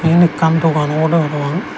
eyen ekkan dogan obodey parapang.